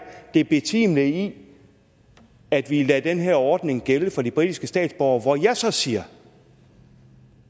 det betimelige i at vi lader den her ordning gælde for de britiske statsborgere hvor jeg så siger